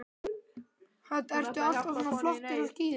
Hödd: Ertu alltaf svona flottur á skíðum?